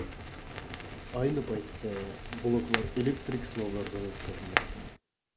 Ayni paytda bloklar elektrik sinovlardan o‘tkazilmoqda.